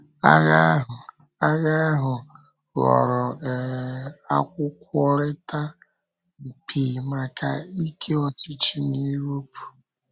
Ághà ahụ Ághà ahụ ghọrọ um Ákwụ́kwọrịtà mpi maka ike ọchịchị na Europe.”